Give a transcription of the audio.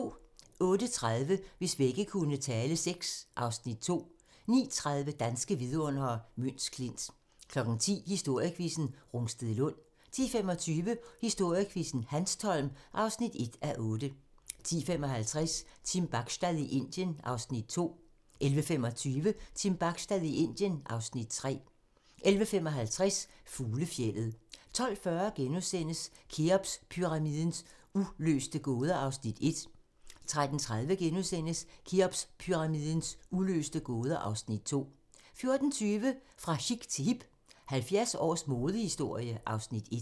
08:30: Hvis vægge kunne tale VI (Afs. 2) 09:30: Danske vidundere: Møns Klint 10:00: Historiequizzen: Rungstedlund 10:25: Historiequizzen: Hanstholm (1:8) 10:55: Team Bachstad i Indien (Afs. 2) 11:25: Team Bachstad i Indien (Afs. 3) 11:55: Fuglefjeldet 12:40: Kheopspyramidens uløste gåder (Afs. 1)* 13:30: Kheopspyramidens uløste gåder (Afs. 2)* 14:20: Fra chic til hip - 70 års modehistorie (Afs. 1)